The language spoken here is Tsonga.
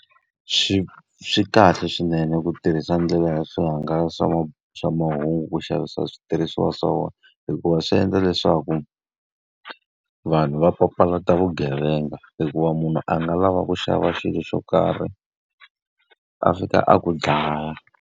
Swi swi kahle swinene ku tirhisa ndlela ya swi hangalasa swa swa mahungu ku xavisa switirhisiwa swa vona. Hikuva swi endla leswaku vanhu va papalata vugevenga, hikuva munhu a nga lava ku xava xilo xo karhi a fika a ku dlaya.